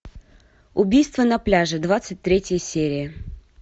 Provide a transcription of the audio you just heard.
убийство на пляже двадцать третья серия